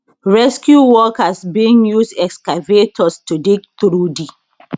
rescue workers bin use excavators to dig through di